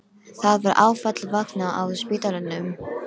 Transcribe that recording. Það var áfall að vakna á spítalanum.